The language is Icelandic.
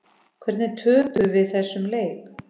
Hvernig töpuðum við þessum leik?